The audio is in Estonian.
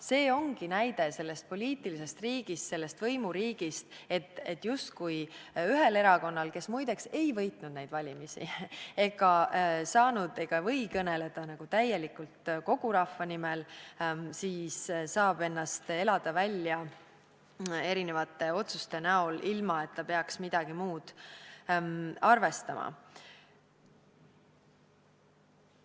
See ongi näide sellest poliitilisest riigist, sellest võimuriigist: justkui üks erakond – kes muide ei võitnud neid valimisi ega või kõneleda täielikult kogu rahva nimel – saab ennast välja elada erinevate otsuste näol, ilma et ta peaks midagi muud arvestama.